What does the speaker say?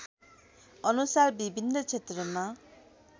अनुसार विभिन्न क्षेत्रमा